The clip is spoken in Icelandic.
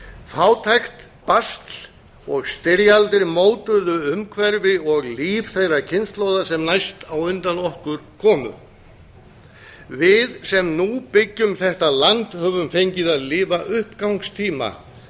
fátækt basl og styrjaldir mótuðu umhverfi og líf þeirra kynslóða sem næst á undan okkur komu við sem nú byggjum þetta land höfum fengið að lifa uppgangstíma